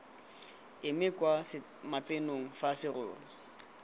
eme kwa matsenong fa serori